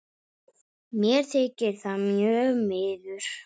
Mér þykir það mjög miður.